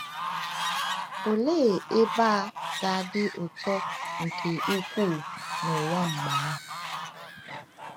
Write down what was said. Olee ebe a ga-adị ụtọ nke ukwuu n’ụwa mgbe ahụ!